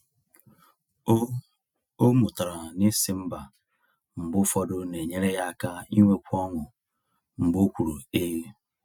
O O mụtara na ịsị ‘mba’ mgbe ụfọdụ na-enyere ya aka inwekwu ọṅụ mgbe o kwuru ‘ee’.